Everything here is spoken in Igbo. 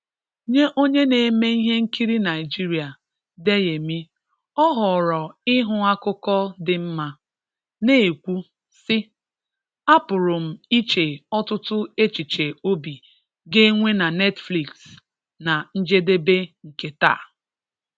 Nye onye na-eme ihe nkirị Naịjịrịa, Deyemị, ọ họọrọ ịhụ akụkụ dị mma, na-ekwu, sị:' Apụrụ m iche ọtụtụ echiche obị ga-enwe na Netflix na njedebe nke taa!